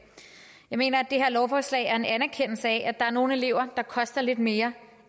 jeg mener at det her lovforslag er en anerkendelse af at der er nogle elever der koster lidt mere